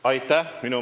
Aitäh!